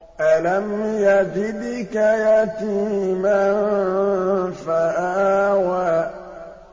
أَلَمْ يَجِدْكَ يَتِيمًا فَآوَىٰ